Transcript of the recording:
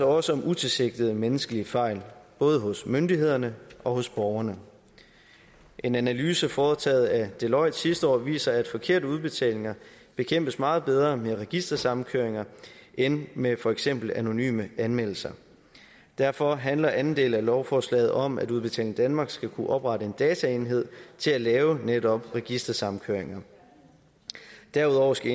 også om utilsigtede menneskelige fejl både hos myndighederne og hos borgerne en analyse foretaget af deloitte sidste år viser at forkerte udbetalinger bekæmpes meget bedre med registersamkøringer end med for eksempel anonyme anmeldelser derfor handler anden del af lovforslaget om at udbetaling danmark skal kunne oprette en dataenhed til at lave netop registersamkøringer derudover skal